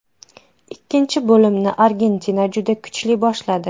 Ikkinchi bo‘limni Argentina juda kuchli boshladi.